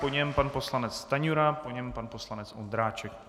Po něm pan poslanec Stanjura, po něm pan poslanec Ondráček.